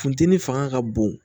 Funteni fanga ka bon